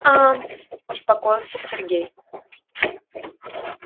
а успокоился сергей